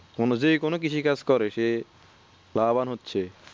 অনুযায়ী কোনো কৃষি কাজ করে সে লাভবান হচ্ছে